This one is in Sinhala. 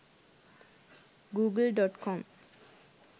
google.com